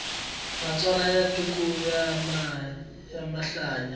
matsalwa ya tika ku mahlaya